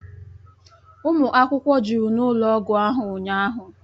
Ụmụ akwụkwọ jụrụ n'ụlọ ọgwụ ahụ ụnyahụ